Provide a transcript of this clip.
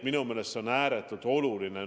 Minu meelest on see ääretult oluline.